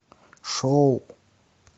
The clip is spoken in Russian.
шоу